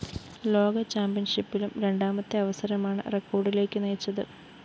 ലോക ചാമ്പ്യൻഷിപ്പിലും രണ്ടാമത്തെ അവസരമാണ് റെക്കോഡിലേക്കു നയിച്ചത്